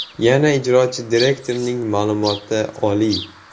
Yangi ijrochi direktorning ma’lumoti oliy.